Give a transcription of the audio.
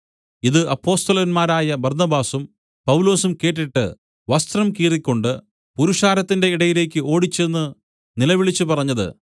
ഇത് അപ്പൊസ്തലന്മാരായ ബർന്നബാസും പൗലൊസും കേട്ടിട്ട് വസ്ത്രം കീറിക്കൊണ്ട് പുരുഷാരത്തിന്റെ ഇടയിലേക്ക് ഓടിച്ചെന്ന് നിലവിളിച്ചു പറഞ്ഞത്